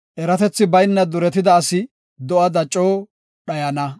Eratethi bayna duretida asi do7ada coo dhayana.